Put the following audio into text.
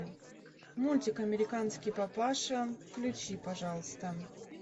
мультик американский папаша включи пожалуйста